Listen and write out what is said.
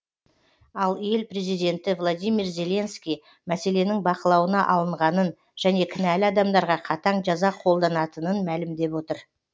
ал ел президенті владимир зеленский мәселенің бақылауына алынғанын және кінәлі адамдарға қатаң жаза қолданатынын мәлімдеп отыр